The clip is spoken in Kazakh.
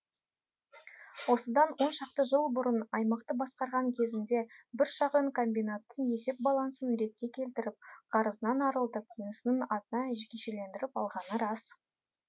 осыдан оншақты жыл бұрын аймақты басқарған кезінде бір шағын комбинаттың есеп балансын ретке келтіріп қарызынан арылтып інісінің атына жекешелендіріп алғаны рас